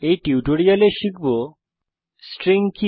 এই টিউটোরিয়ালে আমরা শিখব স্ট্রিং কি